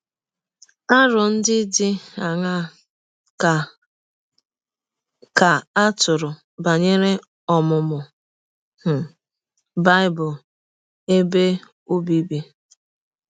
Arọ ndị dị aṅaa ka ka a tụrụ banyere ọmụmụ um Bible ebe ọbịbị?